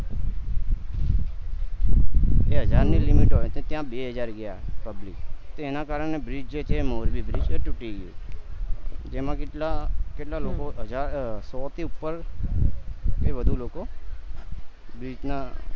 હજાર ની limit હોય છે ત્યાં બે હજાર ગયા public તો એના કરને bridge છે મોરબી bridge એ તૂટી ગયું જેમાં કેટલા કેટલા લોકો હજાર અ સો થી ઉપર એ વધુ લોકો ની ત્યાં